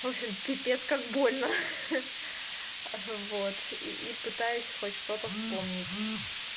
в общем пипец как больно ха-ха вот и пытаюсь хоть что-то вспомнить